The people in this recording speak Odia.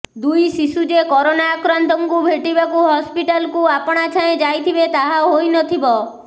ଦୁଇ ଶିଶୁ ଯେ କରୋନା ଆକ୍ରାନ୍ତଙ୍କୁ ଭେଟିବାକୁ ହସ୍ପିଟାଲକୁ ଆପଣଛାଏଁ ଯାଇଥିବେ ତାହା ହୋଇନଥିବ